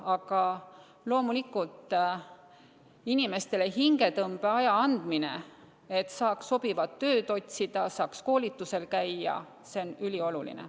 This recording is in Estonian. Aga loomulikult inimestele hingetõmbeaja andmine, et saaks sobivat tööd otsida, koolitusel käia, on ülioluline.